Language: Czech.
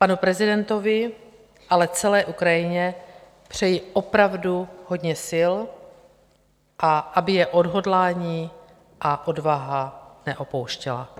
Panu prezidentovi, ale celé Ukrajině přeji opravdu hodně sil, a aby je odhodlání a odvaha neopouštěly.